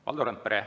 Valdo Randpere.